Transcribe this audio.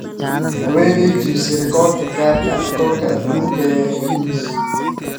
Haweeney jebisay rikoorka gadhka rikoorka adduunka ee Guinness